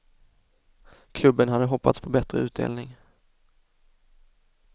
Klubben hade hoppats på bättre utdelning.